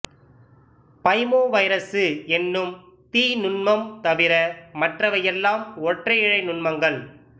பைமோவைரசு என்னும் தீநுண்மம் தவிர மற்றவை எல்லாம் ஒற்றை இழை நுண்மங்கள்